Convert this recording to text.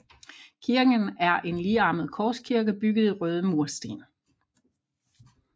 Kirken er en ligearmet korskirke bygget i røde mursten